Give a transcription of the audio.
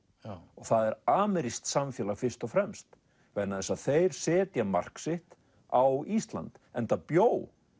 og það er amerískt samfélag fyrst og fremst þeir setja mark sitt á Ísland enda bjó